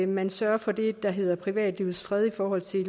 man sørger for det der hedder privatlivets fred i forhold til